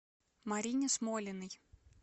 марине смолиной